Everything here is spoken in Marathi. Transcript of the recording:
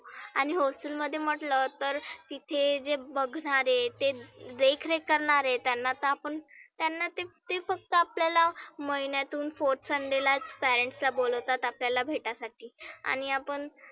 आणि hostel मध्ये मटलं तर तिथे जे बघणारे ते देखरेख करणारे त्यांना तर आपण त्यांना ते ते फक्त आपल्याला महिन्यातुन fourth sunday लाच parents ला बोलावतात आपल्याला भेटायासाठी. आणि आपण